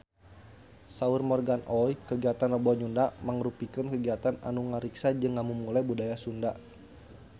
Saur Morgan Oey kagiatan Rebo Nyunda mangrupikeun kagiatan anu ngariksa jeung ngamumule budaya Sunda